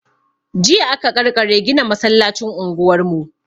Jiya aka ƙarkare gina masallacin unguwar mu.